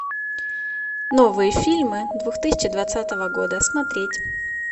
новые фильмы две тысячи двадцатого года смотреть